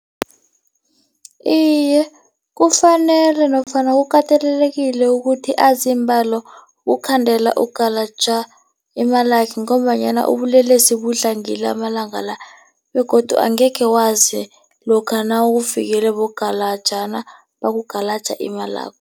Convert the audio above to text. Iye, kufanele nofana kukatelelekile ukuthi azi iimbalo ukhandela ukugalaja imalakhe ngombanyana ubulelesi budlangile amalanga la begodu angekhe wazi lokha nawufikele bogalajana, bakugalaka imalakho.